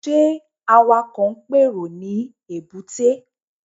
Ṣé Awakọ̀ ń pèrò ní èbúté?